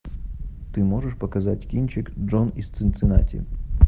ты можешь показать кинчик джон из цинциннати